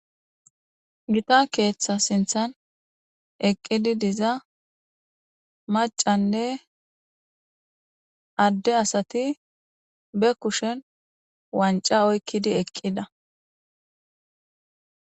Gita keetha sinthan eqidi diza mac'anne adde asati be kushen waanca oykidi eqida